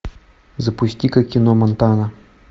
запусти ка кино монтана